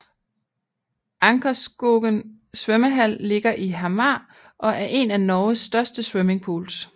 Ankerskogen svømmehall ligger i Hamar og er en af Norges største swimmingpools